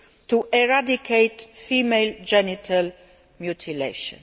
to eradicate female genital mutilation.